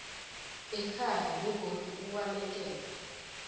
ekhaya begodu ubalekele